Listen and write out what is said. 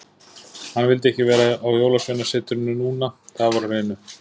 Hann vildi ekki vera á Jólasveinasetrinu núna, það var á hreinu.